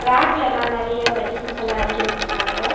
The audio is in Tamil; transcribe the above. ரேக்லெல்லா நறைய மெடிசின்ஸ்ஸல்லா அடுக்கி வெச்சுருக்காங்க.